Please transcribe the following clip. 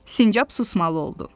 Sincab susmalı oldu.